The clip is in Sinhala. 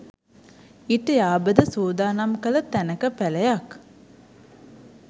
ඊට යාබද සූදානම් කළ තැනක පැළයක්